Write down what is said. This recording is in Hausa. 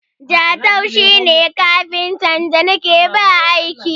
Jatau shi ne kafintan da na ke ba aiki.